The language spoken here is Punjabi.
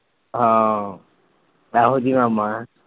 ਹਾਂ ਇਹੋ ਜੀ ਮੈਮ ਏ